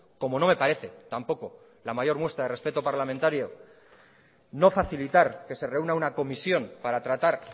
como no me parece tampoco la mayor muestra de respeto parlamentario no facilitar que se reúna una comisión para tratar